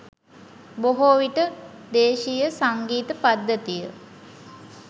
බොහෝ විට දේශීය සංගීත පද්ධතිය